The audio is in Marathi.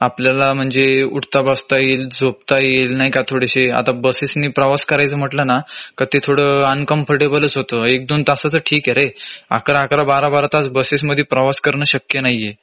आपल्याला म्हंजे उठता बसता येईल झोपता येईल नाही का थोडेशे आता बसेस नी प्रवास करायचा म्हटलं ना का ते थोडं uncomfortable च होत. एक दोन तसाच ठीके रे ११-११, १२-१२ तास बसेस मध्ये प्रवास करणं शक्य नाहीऐ